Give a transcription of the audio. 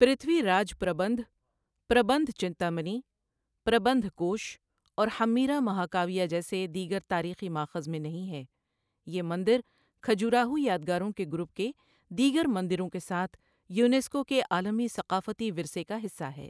پرتھوی راج پربندھ، پربندھ چنتامنی، پربندھ کوش اور ہمّیرا مہاکاویہ جیسے دیگر تاریخی مآخذ میں نہیں ہے یہ مندر کھجوراہو یادگاروں کے گروپ کے دیگر مندروں کے ساتھ یونیسکو کے عالمی ثقافتی ورثے کا حصہ ہے۔